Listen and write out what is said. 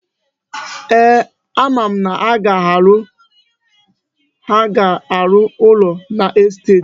Eeh, ama m na ha ga-arụ ụlọ n'estet.